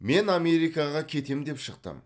мен америкаға кетем деп шықтым